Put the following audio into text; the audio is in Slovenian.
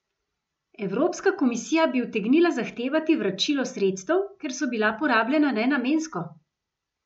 Evropska komisija bi utegnila zahtevati vračilo sredstev, ker so bila porabljena nenamensko!